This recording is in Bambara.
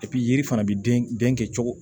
yiri fana bɛ den den kɛ cogo